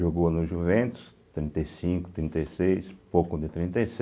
Jogou no Juventus, trinta e cinco, trinta e seis, pouco de trinta e